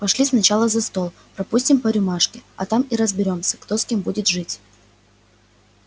пошли сначала за стол пропустим по рюмашке а там и разберёмся кто с кем будет жить